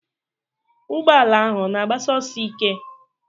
Ụgbọala ahụ ọ na agbasi ọsọ ike?